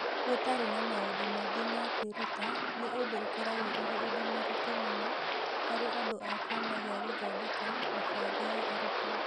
Gũtarĩ na maũndũ maingĩ ma kwĩruta nĩ ũndũ ũkoragwo ũrĩ ũndũ mũritũ mũno harĩ andũ a kĩama kĩa Gũthondeka Mĩbango ya Arutwo.